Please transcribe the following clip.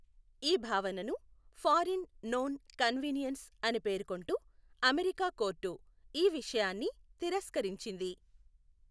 ఈ భావనను forum non conveniens అని పేర్కొంటూ అమెరికా కోర్టు ఈ విషయాన్ని తిరస్కరించింది.